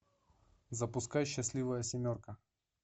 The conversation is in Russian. запускай счастливая семерка